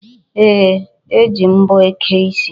E ji mbọ eke isi.